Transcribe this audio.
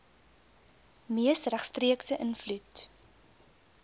mees regstreekse invloed